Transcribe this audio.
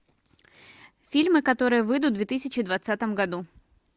фильмы которые выйдут в две тысячи двадцатом году